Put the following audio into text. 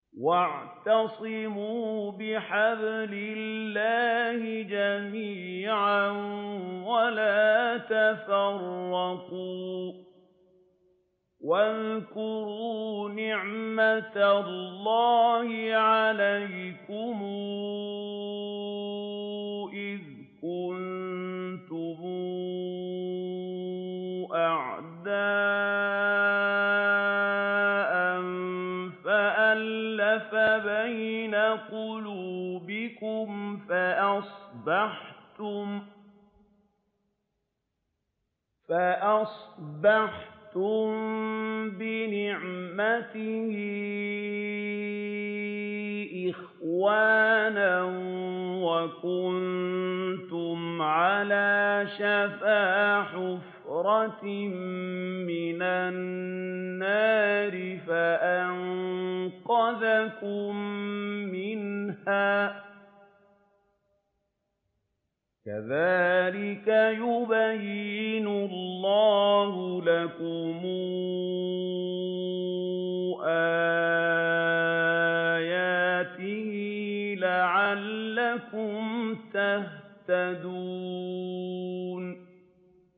وَاعْتَصِمُوا بِحَبْلِ اللَّهِ جَمِيعًا وَلَا تَفَرَّقُوا ۚ وَاذْكُرُوا نِعْمَتَ اللَّهِ عَلَيْكُمْ إِذْ كُنتُمْ أَعْدَاءً فَأَلَّفَ بَيْنَ قُلُوبِكُمْ فَأَصْبَحْتُم بِنِعْمَتِهِ إِخْوَانًا وَكُنتُمْ عَلَىٰ شَفَا حُفْرَةٍ مِّنَ النَّارِ فَأَنقَذَكُم مِّنْهَا ۗ كَذَٰلِكَ يُبَيِّنُ اللَّهُ لَكُمْ آيَاتِهِ لَعَلَّكُمْ تَهْتَدُونَ